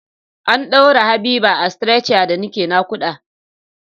An ɗaura Habiba a stretcher da nake naƙuda.